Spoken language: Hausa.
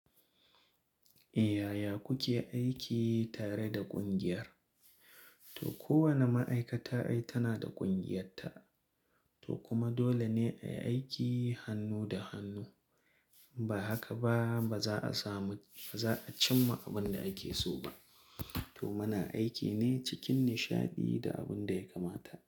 Eh yaya kuke aiki tare da ƙungiyar? To kowane ma'aikata ai tana da ƙungiyarta, to kuma dole ne a yi aiki hannu da hannu. Ba haka ba, ba za a samu, ba za a cimma abin da ake so ba. To muna aiki ne cikin nishaɗi da abin da ya kamata.